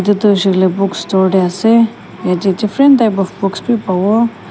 itu huishe koile bookstore dey ase yeti different type of books bi pabo.